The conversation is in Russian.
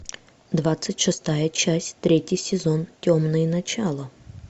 двадцать шестая часть третий сезон темные начала